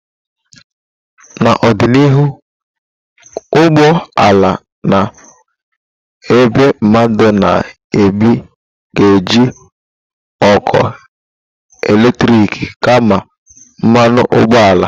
Na ọdịnihu, ụgbọ ala na-ebu mmadu na ibu ga-eji ọkụ eletrik kama mmanụ ụgbọala.